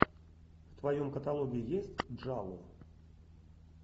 в твоем каталоге есть джалло